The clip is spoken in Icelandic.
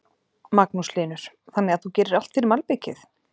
Magnús Hlynur: Þannig að þú gerir allt fyrir malbikið?